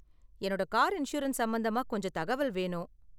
என்னோட​ car insurance சம்பந்தமா​ கொஞ்சம் தகவல் வேணும்.